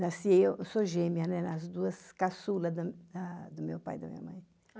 Nasci eu, eu sou gêmea, né, nas duas caçula da da do meu pai e da minha mãe.